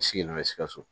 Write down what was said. Sigilen bɛ sikaso